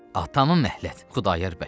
Atamın nəhlət Xudayar bəy.